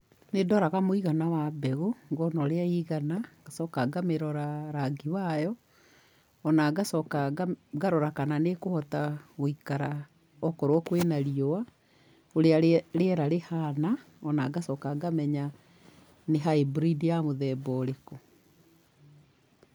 Nĩndoraga mũigana wa mbegũ, ngona ũrĩa ĩigana, ngacoka ngamĩrora rangi wayo, ona ngacoka ngarora kana nĩ ĩkũhota gũikara okorwo kwĩna riũa, ũrĩa rĩera rĩhana ona ngacoka ngamenya nĩ hybrid ya mũthemba ũrĩkũ.